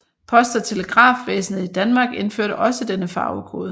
Post og Telegrafvæsenet i Danmark indførte også denne farvekode